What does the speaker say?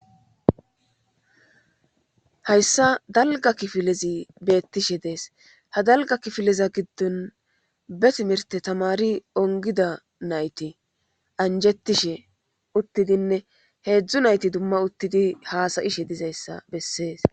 Hayssa dalga kifilezi beettishe dees ha dalga kifileza giddon be timirte tamari ongida nayti anjettishe uttidinne heedzdzu nayti dumma uttidi haasayishe dizayssa bessees.